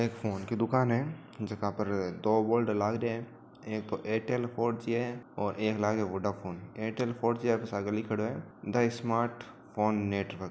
एक फोन की दुकान है जीका पर दो बोर्ड लाग रया है एक एरटेल फॉर जी है और एक लागे वोडाफोन एरटेल फॉर जी साग लिखेड़ों है द स्‍मार्ट फोन नेटवर्क ।